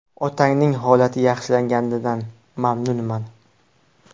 Otangning holati yaxshilanganidan mamnunman.